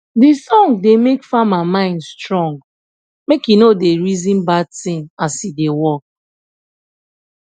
de song da make farmer mind strong make he no da reason bad thing as he da work